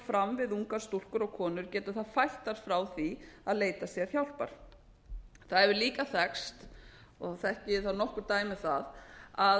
fram við ungar stúlkur og konur getur það fælt þær frá því að leita sér hjálpar það hefur líka verið sagt og þekki ég þó nokkur dæmi um það að